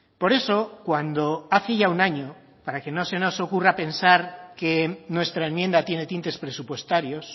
por eso cuando hace ya un año para que no se nos ocurra pensar que nuestra enmienda tiene tintes presupuestarios